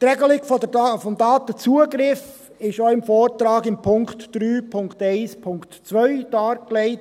Die Regelung des Datenzugriffs ist im Vortrag unter Punkt 3.1.2 dargelegt.